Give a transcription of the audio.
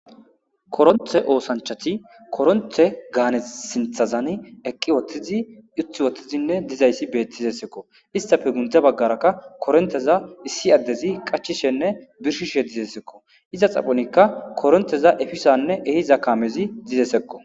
koronthe oosanchati koronthe gaane sinthazani eqqi wotthizi uthi wottizinne dizayssi beettizessekko istafe gundza baggarakka koronteza issi addezi qachishenne birshishe dizesekko iza xaphonikka koronteza efisanne ehiza kamezi dizesekko